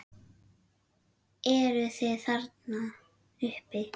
Eruð þið þarna uppi!